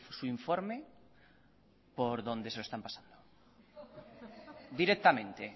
su informe por donde se lo están pasando directamente